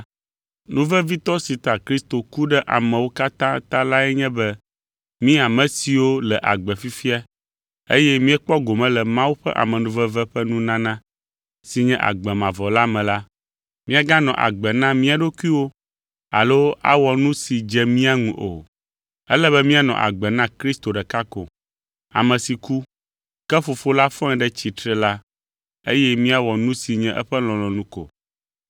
Nu vevitɔ si ta Kristo ku ɖe amewo katã ta lae nye be mí ame siwo le agbe fifia eye míekpɔ gome le Mawu ƒe amenuveve ƒe nunana si nye agbe mavɔ la me la, míaganɔ agbe na mía ɖokuiwo alo awɔ nu si dze mía ŋu o. Ele be míanɔ agbe na Kristo ɖeka ko, ame si ku, ke Fofo la fɔe ɖe tsitre la eye míawɔ nu si nye eƒe lɔlɔ̃nu ko.